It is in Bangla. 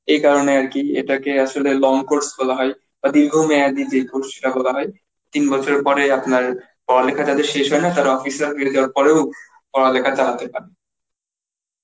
এ কারণে আর কি এটাকে আসলে long course বলা হয়. দীর্ঘমেয়াদি যে course টা বলা হয় তিন বছর পরে আপনার পড়ালেখা যাদের শেষ হয় না তারা office circle এ job করে ও পড়ালেখা চালাতে পারে.